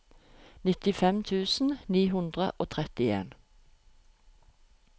nittifem tusen ni hundre og trettien